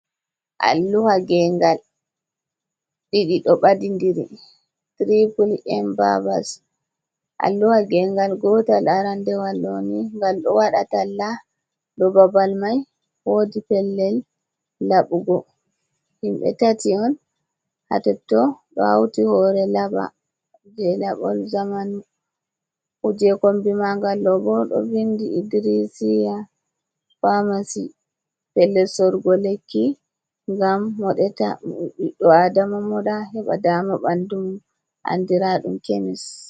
Alluha geengal ɗiɗi ɗo ɓadi ndiri tri puli embabas, alluha gengal gotal arandewal ɗoni gal ɗo waɗa tallah dou babal mai wodi pellel laɓugo himɓe tati on ha totton ɗo hauti hore laɓa je laɓol zaman, kombi magal ɗobo ɗo vindi idrisiya pamasi, pellel sorugo lekki ngam moɗeta ɓiɗo adama moɗa heɓa dama ɓandu mum andiraɗum kemis.